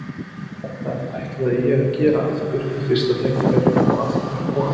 Þetta ætlaði ég að gera aftur við fyrsta tækifæri- og aftur og aftur!